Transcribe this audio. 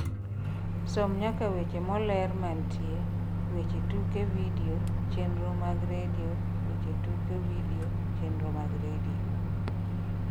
som nyaka weche moler mantie weche tuke vidio chenro mag Redio weche tuke vidio chenro mag redio